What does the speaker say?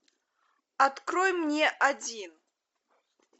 открой мне один